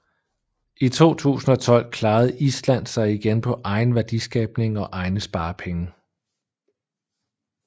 I 2012 klarede Island sig igen på egen værdiskabning og egne sparepenge